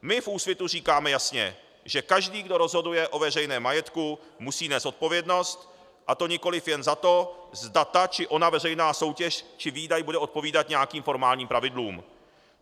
My v Úsvitu říkáme jasně, že každý, kdo rozhoduje o veřejném majetku, musí nést odpovědnost, a to nikoliv jen za to, zda ta či ona veřejná soutěž či výdaj bude odpovídat nějakým formálním pravidlům.